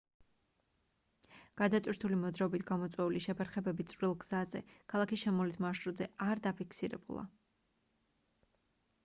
გადატვირთული მოძრაობით გამოწვეული შეფერხებები წვრილ გზაზე ქალაქის შემოვლით მარშრუტზე არ დაფიქსირებულა